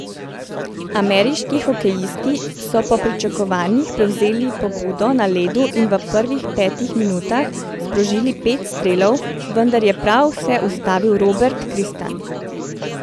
Ameriški hokejisti so po pričakovanjih prevzeli pobudo na ledu in v prvih petih minutah sprožili pet strelov, vendar je prav vse ustavil Robert Kristan.